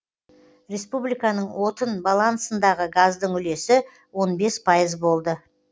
республиканың отын балансындағы газдың үлесі он бес пайыз болды